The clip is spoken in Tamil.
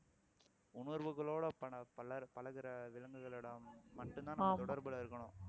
உணர்வுகளோட பலர் பழகுற விலங்குகளிடம் மட்டும்தான் நம்ம தொடர்புல இருக்கணும்